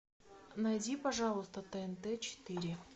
найди пожалуйста тнт четыре